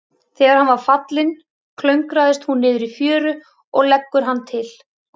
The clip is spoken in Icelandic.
Þegar hann er fallinn, klöngrast hún niður í fjöru og leggur hann til.